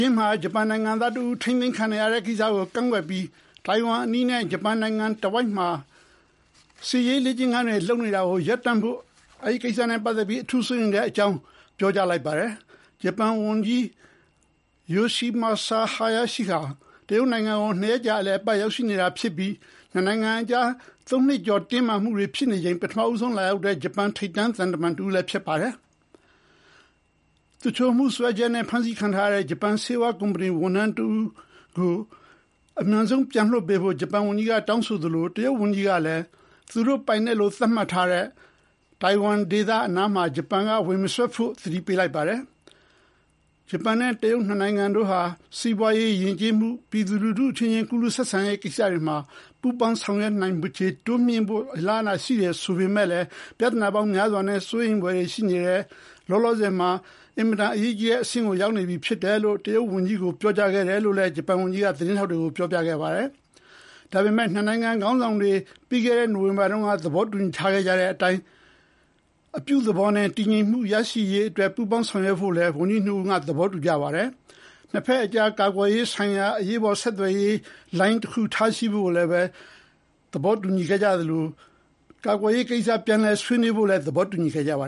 ျင်းမှာ ဂျပန်နိုင်ငံသားတဦး ထိန်းသိမ်းခံနေရတဲ့ကိစ္စကို ကန့်ကွက်ပြီး ထိုင်ဝမ်ကျွန်းအနီးနဲ့ဂျပန်နိုင်ငံအနားတဝိုက် စစ်ရေးလုပ်ရပ်တွေ တိုးများလာနေတဲ့အတွက် အထူးစိုးရိမ်ကြောင်း ပြောကြားလိုက်ပါတယ်။ ဂျပန် နိုင်ငံခြားရေးဝန်ကြီး Yoshimasa Hayashi ဟာ တရုတ်နိုင်ငံကို နှစ်ရက်ကြာ အလည်အပတ်ရောက်တောဖြစ်ပြီး နှစ်နိုင်ငံကြား ၃ နှစ်ကျော်ကြာအောင် တင်းမာမှုတွေဖြစ်နေချိန် ပထမဦးဆုံးလာရောက်တဲ့ ဂျပန်သံတမန်ခရီးစဉ်ဖြစ်ပါတယ်။ သူလျှိုမှုစွဲချက်နဲ့ ဖမ်းဆီးခံထားရတဲ့ ဂျပန်ဆေးဝါးကုမ္ပဏီဝန်ထမ်း ကို အမြန်ဆုံးပြန်လွှတ်ပေးဖို့ ဂျပန်ဝန်ကြီးကတောင်းဆိုသလို တရုတ်ဝန်ကြီးကလည်း သူတို့ပိုင်နက်လို့သတ်မှတ်ထားတဲ့ ကိုယ်ပိုင်အုပ်ချုပ်ရေးရ ထိုင်ဝမ်အရေးမှာ ဂျပန်က ဝင်မစွက်ဖို့သတိပေးလိုက်ပါတယ်။ ဂျပန်နဲ့တရုတ် နှစ်နိုင်ငံတို့ဟာ စီးပွါးရေး၊ ယဉ်ကျေးမှုနဲ့ ပြည်သူလူထုချင်း ကူးလူးဆက်ဆံမှုကိစ္စတွေမှာ ပူးပေါင်းဆောင်ရွက်မှု တိုးမြှင့်ဆောင်ရွက်နိုင်တဲ့ အလားအလာ ရှိပေမဲ့ ပြဿနာပေါင်းများစွာနဲ့ စိုးရိမ်စရာတွေလဲ ရှိနေပြီလောလော ဆယ်မှာ အရေးကြီးတဲ့အဆင့်ကို ရောက်ရှိနေကြောင်း တရုတ်ဝန်ကြီးကို ပြောကြားခဲ့တယ်လို့လည်း ဂျပန်ဝန်ကြီးက သတင်းထောက်တွေကို ပြောပြခဲ့ပါတယ်။ ဒါပေမဲ့ နှစ်နိုင်ငံ ခေါင်းဆောင်တွေ ပြီးခဲ့တဲ့ နိုဝင်ဘာတုန်းက သဘောတူညီခဲ့ကြတဲ့အတိုင်း အပြုသဘောနဲ့ တည်ငြိမ်မှုရရှိရေးအတွက် ပူးပေါင်းဆောင်ရွက်ဖို့လည်း ဝန်ကြီးနှစ်ဦးက သဘောတူညီခဲ့ကြသလို နှစ်ဘက်ကြား ကာကွယ်ရေးဆိုင်ရာ အရေးပေါ်ဆက်သွယ်ရေးလိုင်း ထားရှိဖို့နဲ့ ကာကွယ်ရေးကိစ္စဆွေးနွေးမှု ပြန်စဖို့သဘောတူညီခဲ့ကြပါ